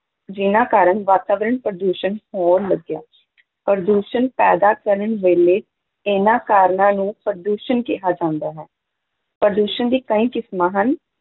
ਜਿਹਨਾਂ ਕਾਰਨ ਵਾਤਾਵਰਨ ਪ੍ਰਦੂਸ਼ਣ ਹੋਣ ਲੱਗਿਆ ਪ੍ਰਦੂਸ਼ਣ ਪੈਦਾ ਕਰਨ ਵੇਲੇ ਇਹਨਾਂ ਕਾਰਨਾਂ ਨੂੰ ਪ੍ਰਦੂਸ਼ਨ ਕਿਹਾ ਜਾਂਦਾ ਹੈ, ਪ੍ਰਦੂਸ਼ਣ ਦੀ ਕਈ ਕਿਸਮਾਂ ਹਨ।